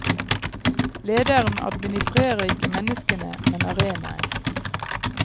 Lederen administrerer ikke menneskene, men arenaen.